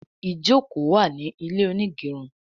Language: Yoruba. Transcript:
ìjoko wá ní ilé onigerun